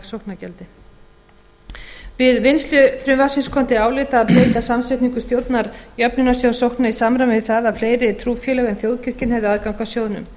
sóknargjaldi við vinnslu frumvarpsins kom til álita að breyta samsetningu stjórnar jöfnunarsjóðs sókna í samræmi við það að fleiri trúfélög en þjóðkirkjan hefðu aðgang að sjóðnum